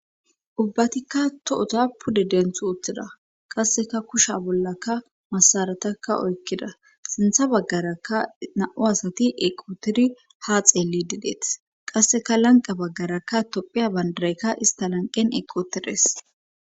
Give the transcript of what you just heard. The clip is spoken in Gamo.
ubbatikka tohoza pude denth utthida qasseka kusha bollakka masaratakka oykkida sintha baggaraka na7u asati eqooteri ha xeelli dideeth qasseka lanqa baggarakka tophiya bandaraykka ista lanqen eqoterees